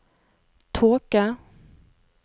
tåke